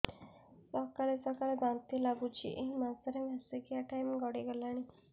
ସକାଳେ ସକାଳେ ବାନ୍ତି ଲାଗୁଚି ଏଇ ମାସ ର ମାସିକିଆ ଟାଇମ ଗଡ଼ି ଗଲାଣି